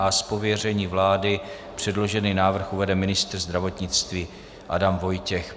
Z pověření vlády předložený návrh uvede ministr zdravotnictví Adam Vojtěch.